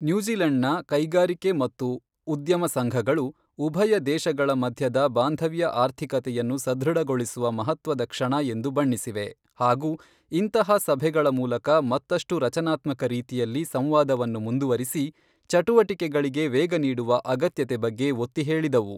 ನ್ಯೂಜಿಲೆಂಡ್ನ ಕೈಗಾರಿಕೆ ಮತ್ತು ಉದ್ಯಮ ಸಂಘಗಳು, ಉಭಯ ದೇಶಗಳ ಮಧ್ಯದ ಬಾಂಧವ್ಯ ಆರ್ಥಿಕತೆಯನ್ನು ಸದೃಢಗೊಳಿಸುವ ಮಹತ್ವದ ಕ್ಷಣ ಎಂದು ಬಣ್ಣಿಸಿವೆ ಹಾಗೂ ಇಂತಹ ಸಭೆಗಳ ಮೂಲಕ ಮತ್ತಷ್ಟು ರಚನಾತ್ಮಕ ರೀತಿಯಲ್ಲಿ ಸಂವಾದವನ್ನು ಮುಂದುವರಿಸಿ ಚಟುವಟಿಕೆಗಳಿಗೆ ವೇಗ ನೀಡುವ ಅಗತ್ಯತೆ ಬಗ್ಗೆ ಒತ್ತಿ ಹೇಳಿದವು.